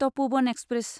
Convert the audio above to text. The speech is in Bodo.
तपोवन एक्सप्रेस